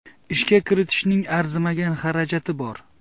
Ishga kiritishning arzimagan xarajati bor.